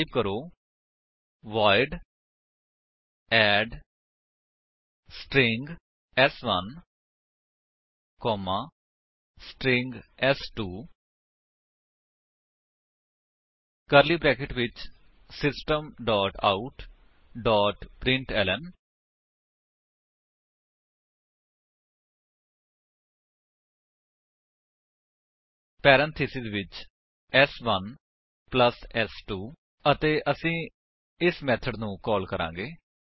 type ਕਰੋ void add string ਸ1 comma string ਸ2 ਕਰਲੀ ਬਰੈਕੇਟਸ ਵਿੱਚ system dot out dot println parenthesis ਵਿੱਚ ਸ1 ਪਲੱਸ ਸ2 ਅਤੇ ਅਸੀ ਇਸ ਮੇਥਡ ਨੂੰ ਕਾਲ ਕਰਾਂਗੇ